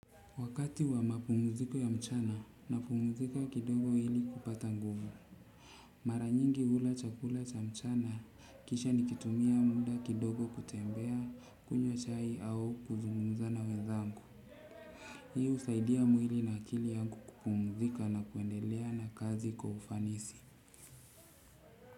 Wakati wa mapumziko ya mchana, napumzika kidogo ili kupata nguvu. Mara nyingi hula chakula cha mchana kisha nikitumia muda kidogo kutembea kunywa chai au kuzungumza na wenzangu. Hii usaidia mwili na akili yangu kupumzika na kuendelea na kazi kwa ufanisi.